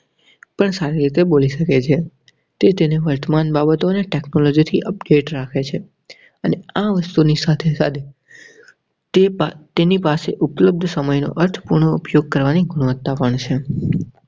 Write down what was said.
પણ સારી રીતે બોલી સકે છે. તે તેને વર્તમાન બાબતોને technology થી update રાખે છે. અને આ વસ્તુ ની સાથે સાથે તેને પાસે ઉપલબ્ધ સમયનો પાઠનો ઉપયોગ કરવાની ગુણવત્તા પણ છે.